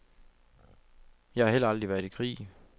Jeg har heller aldrig været i krig.